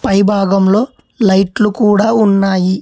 పై భాగంలో లైట్లు కూడా ఉన్నాయి.